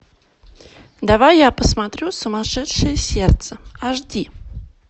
давай я посмотрю сумасшедшее сердце аш ди